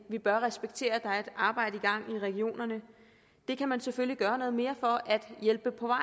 vi bør respektere at et arbejde i gang i regionerne det kan man selvfølgelig gøre noget mere for at hjælpe på vej